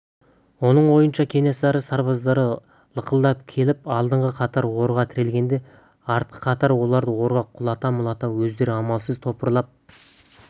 оның ойынша кенесары сарбаздары лықылдап келіп алдыңғы қатары орға тірелгенде артқы қатары оларды орға құлата-мұлата өздері амалсыз топырлап